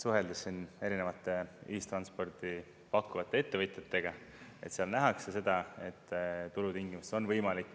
Suheldes siin erinevate ühistransporti pakkuvate ettevõtjatega, et seal nähakse seda, et turu tingimustes on võimalik